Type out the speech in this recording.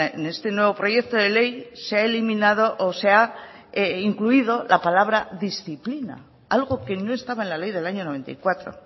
en este nuevo proyecto de ley se ha eliminado o se ha incluido la palabra disciplina algo que no estaba en la ley del año noventa y cuatro